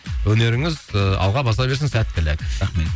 өнеріңіз ыыы алға баса берсін сәттілік рахмет